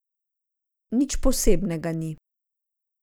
Nič posebnega ni.